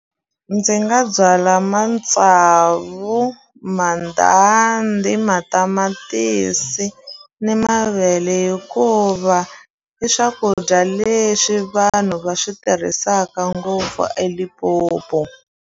Ndzi nga byala mantsavu mandhandhi matamatisi ni mavele hikuva i swakudya leswi vanhu va swi tirhisaka ngopfu eLimpopo.